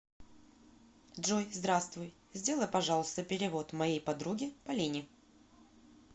джой здравствуй сделай пожалуйста перевод моей подруге полине